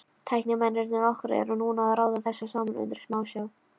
Tæknimennirnir okkar eru núna að raða þessu saman undir smásjá.